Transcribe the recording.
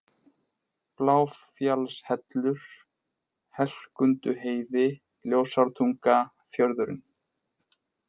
Bláfjallshellur, Helkunduheiði, Ljósártunga, Fjörðurinn